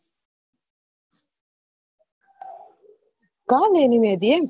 કાલ એની મેહદી હે એમ?